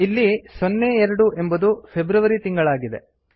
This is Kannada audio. ಇಲ್ಲಿ 02 ಎಂಬುದು ಫೆಬ್ರವರಿ ತಿಂಗಳಾಗಿದೆ